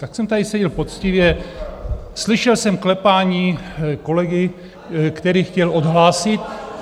Tak jsem tady seděl poctivě, slyšel jsem klepání kolegy, který chtěl odhlásit.